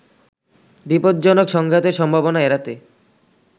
বিপজ্জনক সংঘাতের সম্ভাবনা এড়াতে